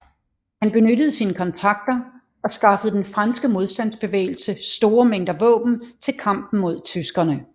Han benyttede sine kontakter og skaffede den franske modstandsbevægelse store mængder våben til kampen mod tyskerne